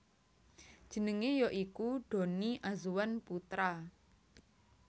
Jenenge ya iku Donny Azwan Putra